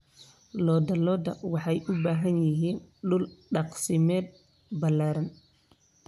Lo'da lo'da waxay u baahan yihiin dhul daaqsimeed ballaaran.